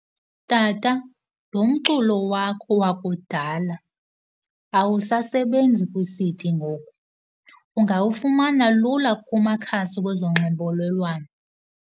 Tata, lo mculo wakho wakudala awusasebenzi kwi-C_D ngoku, ungawufumana lula kumakhasi wezonxibelelwano.